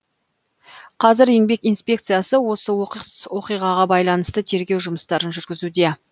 қазір еңбек инспекциясы осы оқыс оқиғаға байланысты тергеу жұмыстарын жүргізуде